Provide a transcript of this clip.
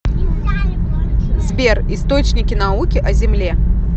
сбер источники науки о земле